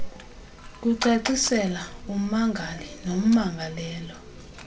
kucacisela ummangali nommangalelwa